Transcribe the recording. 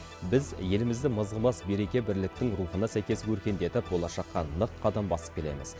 біз елімізді мызғымас береке бірліктің рухына сәйкес өркендетіп болашаққа нық қадам басып келеміз